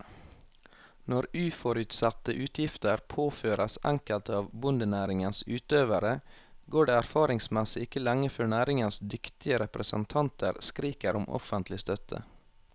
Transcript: Når uforutsette utgifter påføres enkelte av bondenæringens utøvere, går det erfaringsmessig ikke lenge før næringens dyktige representanter skriker om offentlig støtte.